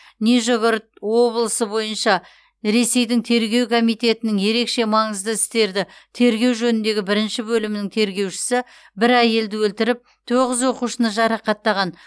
нижегород облысы бойынша ресейдің тергеу комитетінің ерекше маңызды істерді тергеу жөніндегі бірінші бөлімінің тергеушісі бір әйелді өлтіріп тоғыз оқушыны жарақаттаған